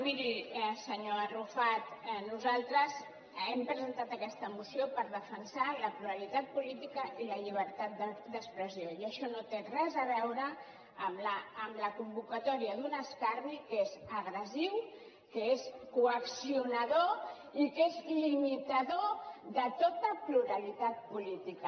miri senyor arrufat nosaltres hem presentat aquesta moció per defensar la pluralitat política i la llibertat d’expressió i això no té res a veure amb la convocatòria d’un escarni que és agressiu que és coaccionador i que és limitador de tota pluralitat política